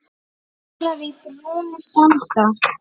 Stjórar í brúnni standa.